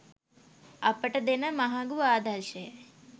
අපට දෙන මහඟු ආදර්ශයයි.